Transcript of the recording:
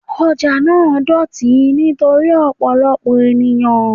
Ọjà náà dọ̀tí nítorí ọ̀pọ̀lọpọ̀ ènìyàn.